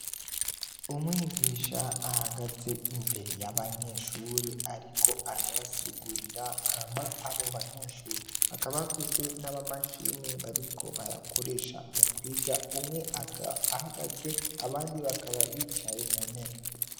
Umwigisha ahagaze imbere y'abanyeshure, ariko arabasigurira, hama abo banyeshure bakaba bafise n'ama mashini bariko barakoresha mu kwiga. Umwe, akaba ahagaze, abandi bakaba bicaye mu ntebe.